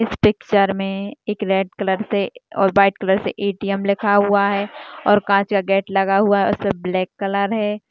इस पिक्चर मे एक रेड कलर से और व्हाइट कलर से ए_टी_एम लिखा हुआ है और काच का गेट लगा हुआ है उसमे ब्लैक कलर है।